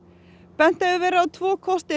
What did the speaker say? bent hefur verið á tvo kosti